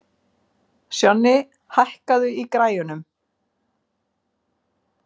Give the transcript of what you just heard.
Sjonni, hækkaðu í græjunum.